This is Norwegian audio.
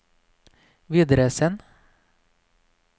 videresend